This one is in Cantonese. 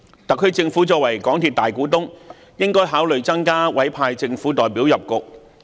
特區政府作為港鐵公司的大股東，應考慮增派政府代表加入董事局。